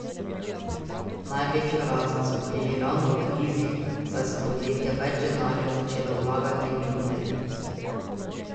Največjo rast so imeli ravno v krizi, saj so podjetja več denarja začela vlagati v internet.